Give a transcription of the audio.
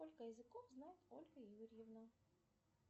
сколько языков знает ольга юрьевна